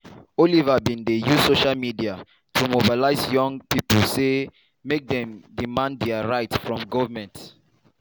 oliver also bin dey use social media to mobilise young pipo say make dey demand dia rights from goment.